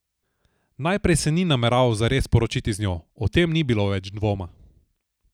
Najprej se ni nameraval zares poročiti z njo, o tem ni bilo več dvoma.